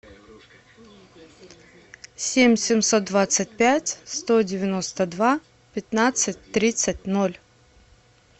семь семьсот двадцать пять сто девяносто два пятнадцать тридцать ноль